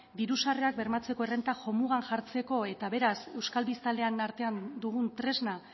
diru sarrerak bermatzearen errenta jo mugan jartzeko eta beraz euskal biztanlean artean dugun tresna